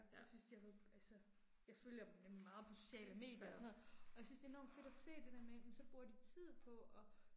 Jeg synes de har været altså. Jeg følger dem nemlig meget på sociale medier og sådan noget, og jeg synes det er enormt fedt at se, det der med jamen så bruger de tid på og